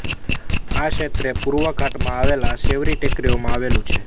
આ ક્ષેત્ર પૂર્વ ઘાટમાં આવેલ શેવરી ટેકરીઓમાં આવેલું છે